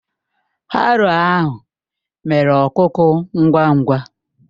Haroo ahụ mere ọkuku ngwa ngwa